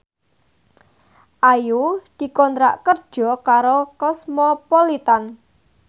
Ayu dikontrak kerja karo Cosmopolitan